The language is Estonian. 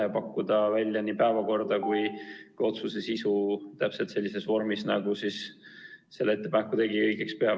Ja saab pakkuda välja nii päevakorda kui ka otsuse sisu täpselt sellises vormis, nagu ettepaneku tegija õigeks peab.